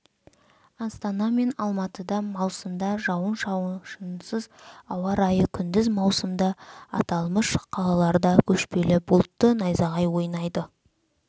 астана мен алматыда маусымда жауын-шашынсыз ауа райы күндіз маусымда аталмыш қалаларда көшпелі бұлтты найзағай ойнайды